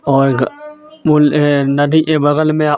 वो नदी के बगल में--